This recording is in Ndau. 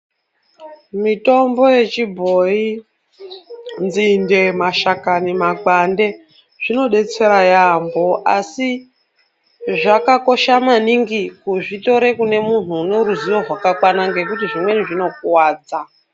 Mitombo yechibhoyi nzinde, mashakani nemakwande zvinodetsera yaamho asi zvakakosha maningi kuzvitora kune muntu ane ruzivo rwakakwana nekuti zvimweni zvinokuwadza.